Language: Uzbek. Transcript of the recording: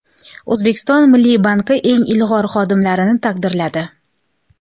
O‘zbekiston Milliy banki eng ilg‘or xodimlarini taqdirladi.